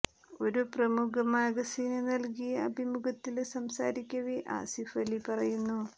ഒരു പ്രമുഖ മാഗസിന് നല്കിയ അഭിമുഖത്തില് സംസാരിക്കവേ ആസിഫ് അലി പറയുന്നു